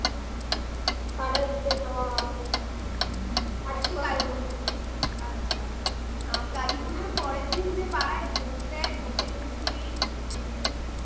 আচ্ছা আ কালীপূজোর পরের দিন যে পাড়ায় ভোগ দেয় ভোগের খিচুড়ি